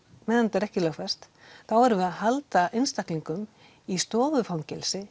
meðan þetta er ekki lögfest þá erum við að halda einstaklingum í stofufangelsi